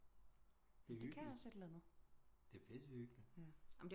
Det er hyggeligt det er pisse hyggeligt